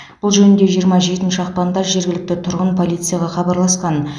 бұл жөнінде жиырма жетінші ақпанда жергілікті тұрғын полицияға хабарласқан